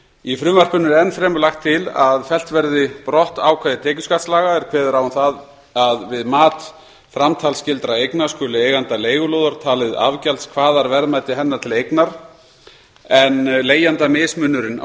í frumvarpinu er enn fremur lagt til að fellt verði brott ákvæði tekjuskattslaga er kveður á um það að við mat framtalsskyldra eigna skuli eiganda leigulóðar talið afgjaldskvaðarverðmæti hennar til eignar en leigjanda mismunurinn á